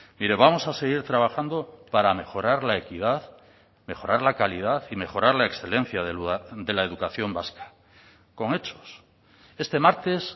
mire vamos a seguir trabajando para mejorar la equidad mejorar la calidad y mejorar la excelencia de la educación vasca con hechos este martes